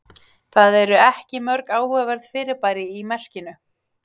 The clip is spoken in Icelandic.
það eru ekki mörg áhugaverð fyrirbæri í merkinu